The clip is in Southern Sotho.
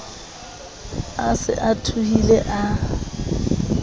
a se a suthile a